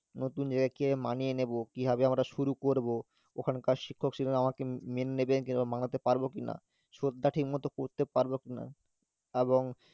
নতুন জায়গায় কিভাবে মানিয়ে নেব কিভাবে আমরা শুরু করব ওখানকার শিক্ষক শিক্ষিকারা আমাকে মে~ মেনে নেবেন কিংবা মানাতে পারব কিনা, শ্রদ্ধা ঠিকমতো করতে পারব কিনা, এবং